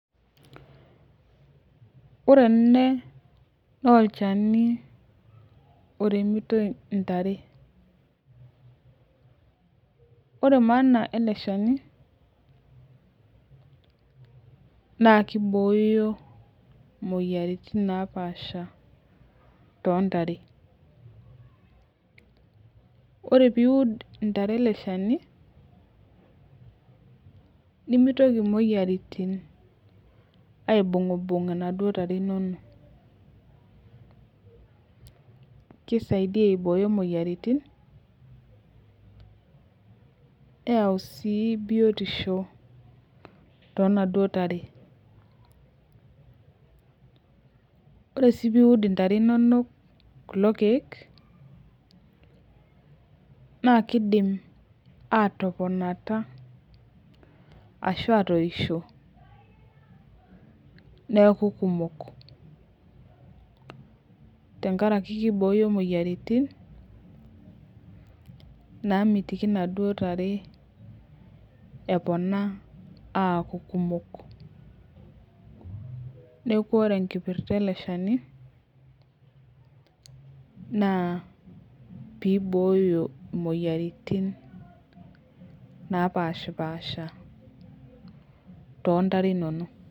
Ore ene naa olchani oremitoi ntare . Ore maana eleshani naa kibooyo moyiaritin napasha tontare . Ore piud ntare nemitoki moyiaritin aibungbung inaduo tare inonok kisaidia aiboyo moyiaritin , neyau sii biotisho tonaduo tare . Ore si piud intare inonok kulo kiek naa kidim atoponata ashu atoisho neaku kumok tenkaraki kibooyo moyiaritin namitiki naduo tare eponaa aku kumok , neku ore enkipirta eleshani naa piooyo moyiaritin napashpasha tontare inonok.